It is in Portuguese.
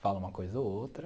Fala uma coisa ou outra.